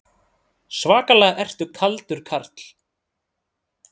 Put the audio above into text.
Svakalega ertu kaldur karl!